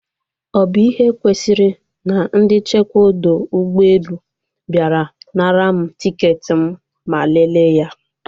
Ọ bụ ihe kwesịrị? Na ndị nchekwa ọdọ ụgbọelu bịara nara m tiketi m ma leele ya